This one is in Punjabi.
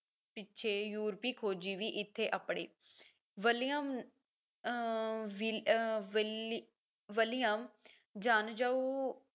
ਪਿੱਛੇ ਯੂਰਪੀ ਖੋਜੀ ਵੀ ਇੱਥੇ ਆਪੜੇ William uh Will uh Willie william janjua